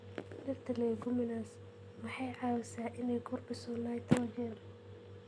Dhirta leguminous waxay caawisaa inay kordhiso nitrogen.